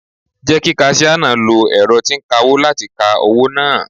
Jẹ́ kí kasíà náà lo ẹ̀rọ tí ń kawó láti ka owó náà.